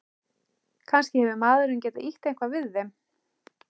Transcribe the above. Kannski hefur maðurinn getað ýtt eitthvað við þeim.